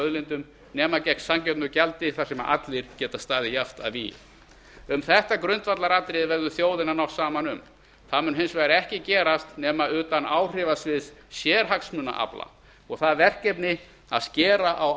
auðlindum nema gegn sanngjörnu gjaldi þar sem allir geta staðið jafnt að vígi um þetta grundvallaratriði verður þjóðin að ná saman um það mun hins ekki gerast nema utan áhrifasviðs sérhagsmunaafla og það verkefni að skera á